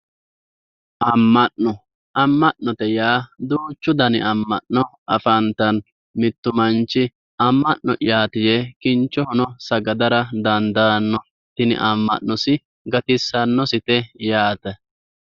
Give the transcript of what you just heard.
Ama'no, ama'note yaa duuchu danni ama'no afantano mitu manchi ama'no'yati yee kinchohono sagadara dandaano tini ama'nosi gatisanosi yaate.